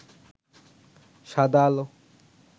সাদা আলো